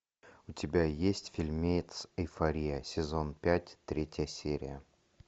у тебя есть фильмец эйфория сезон пять третья серия